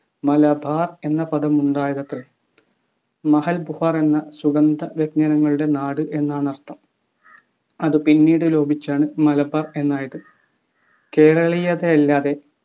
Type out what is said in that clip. മലബാർ എന്ന പദമുണ്ടായതത്രേ എന്ന സുഗന്ധവ്യഞ്ജനങ്ങളുടെ നാട് എന്നാണർത്ഥം അതു പിന്നീടു ലോപിച്ചാണ് മലബാർ എന്നായത് കേരളീയരല്ലാതെ